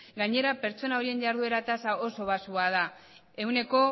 gainera pertsona horien jarduera tasa oso baxua da ehuneko